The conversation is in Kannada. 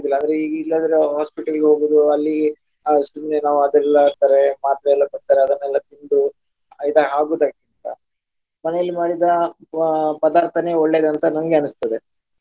ಅಂದ್ರೆ ಈಗ ಇಲ್ಲದ್ರೆ hospital ಗೆ ಹೋಗುವುದು ಅಲ್ಲಿ ಅಹ್ ಸುಮ್ನೆ ನಾವು ಅದೆಲ್ಲಾ ಮಾತ್ರೆಯೆಲ್ಲ ಕೊಡ್ತಾರೆ ಅದನ್ನೆಲ್ಲ ತಿಂದು ಆಗುವುದಕ್ಕಿಂತ ಮನೆಯಲ್ಲಿ ಮಾಡಿದ ಅಥ್ವಾ ಪದಾರ್ಥನೇ ಒಳ್ಳೆಯದು ಅಂತ ನನ್ಗೆ ಅನ್ನಿಸ್ತದೆ.